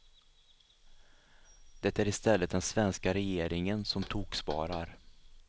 Det är i stället den svenska regeringen som toksparar.